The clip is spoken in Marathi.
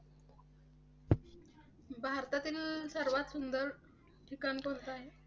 भारतातील सर्वात सुंदर ठिकाण कोणतं आहे?